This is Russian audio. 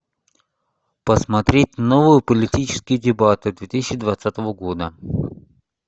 посмотреть новые политические дебаты две тысячи двадцатого года